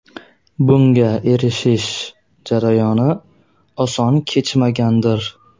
Bunga erishish jarayoni oson kechmagandir.